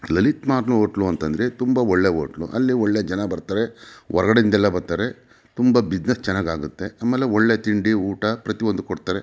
Lalit mart hotel ಅಂದ್ರೆ ತುಂಬ ಒಳ್ಳೆ ಹೋಟೆಲ್ ಅಲ್ಲಿ ತುಂಬ ಜನ ಬರತಾರೆ ಹೊರಗಡೆ ಇಂದ ಬರತಾರೆ ತುಂಬ ಬಿಸಿನೆಸ್ ಚೆನ್ನಾಗೆ ಆಗುತ್ತೆ ಆಮೇಲೆ ಒಳ್ಳೆ ತಿಂಡಿ ಊಟ ಪ್ರತಿಒಂದು ಕೊಡುತ್ತಾರೆ.